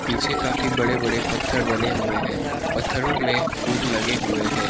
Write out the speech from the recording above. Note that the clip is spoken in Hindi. पिछे काफी बड़े बड़े पत्थर बने हुए हैं पत्थरों में फूल लगे हुए हैं।